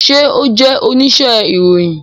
Ṣe o jẹ onise iroyin?